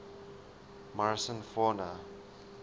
morrison fauna